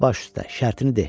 Baş üstə, şərtini de!"